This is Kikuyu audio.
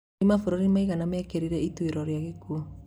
Nĩ mabũrũri maigana mekĩrĩire ituĩro rwa gĩkuo?